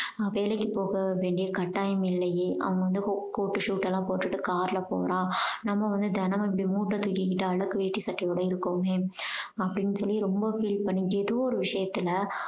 வேலைக்கு போக வேண்டிய கட்டாயம் இல்லையே அவங்க வந்து co~ coat உ suite எல்லாம் போட்டுட்டு car ல போறான். நம்ம வந்து தினம் இப்படி மூட்ட தூக்கிக்கிட்டு அழுக்கு வேஷ்டி சட்டையோட இருக்கோமே அப்படீன்னு சொல்லி ரொம்ப feel பண்ணி ஏதோ ஒரு விஷயத்துல